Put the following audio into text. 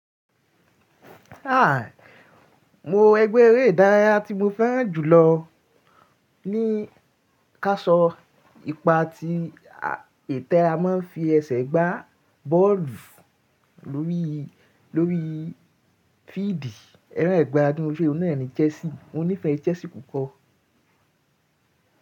A, mo ẹgbẹ́ eré ìdárayá tí mo fẹ́ràn jùlọ ní káṣọ ipa tí a e ti a ma ń fi ẹsẹ̀ gbá bọ́ọ̀lù lórí lórí fíídi, ẹran ìgbá dún fe oun náà ni Chelsea, mo nífẹ̀ẹ́ chelsea púpọ̀.